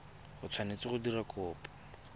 o tshwanetse go dira kopo